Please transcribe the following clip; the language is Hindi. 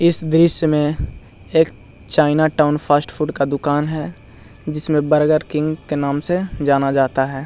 इस दृश्य में एक चाइना टॉउन फास्ट फूड का दुकान है जिसमें बर्गर किंग के नाम से जाना जाता है।